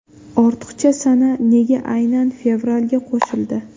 Ortiqcha sana nega aynan fevralga qo‘shildi?